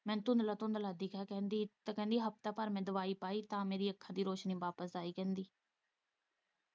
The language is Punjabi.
ਮੈਨੂੰ ਥੁੱਦਲਾ- ਥੁੱਦਲਾ ਦਿਖੇ ਕਹਿੰਦੀ ਹਫ਼ਤਾ ਭਰ ਮੈਂ ਦਵਾਈ ਪਾਈ ਤਾਂ ਮੇਰੀ ਅੱਖ ਦੀ ਰੋਸ਼ਨੀ ਵਾਪਸ ਆਈ ਕਹਿੰਦੀ